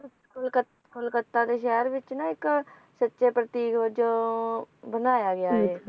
ਕਲਕ ਕਲਕੱਤਾ ਦੇ ਸ਼ਹਿਰ ਵਿਚ ਨਾ ਇੱਕ ਸੱਚੇ ਪ੍ਰਤੀਕ ਵਜੋਂ ਬਣਾਇਆ ਗਿਆ ਹੈ